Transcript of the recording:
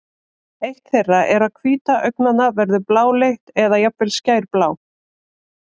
eitt þeirra er að hvíta augnanna verður bláleit eða jafnvel skærblá